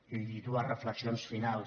i dues reflexions finals